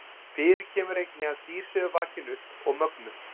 Fyrir kemur einnig að dýr séu vakin upp og mögnuð.